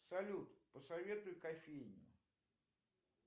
салют посоветуй кофейни